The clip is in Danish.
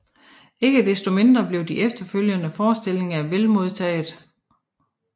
Ikke desto mindre blev de efterfølgende forestillinger vel modtaget